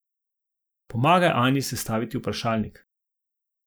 Pomagaj Anji sestaviti vprašalnik.